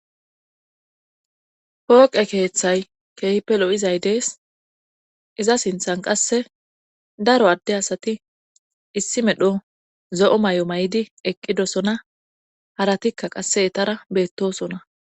Pooqe keeththay keehipe lo7izay dees iza sinthan qasse daro adde asati issi medho zo7o may7o may7di eqqidosona haratikka qasse etara beettosona